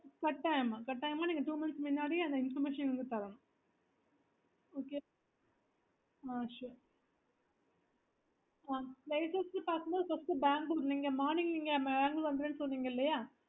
கட்டாயமமா நீங்க two months முன்னாடியே அந்த information நீங்க தரணும் okay sure ஆஹ்